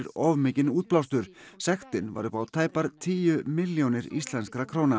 of mikinn útblástur sektin var upp á tæpar tíu milljónir íslenskra króna